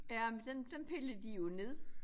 Ja men dem dem pillede de jo ned